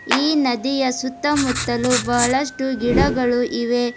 ಈ ನದಿಯ ಸುತ್ತಮುತ್ತಲು ಬಹಳಷ್ಟು ಗಿಡಗಳು ಇವೆ.